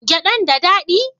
Gyadan da dadi?